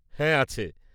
হ্যাঁ, আছে।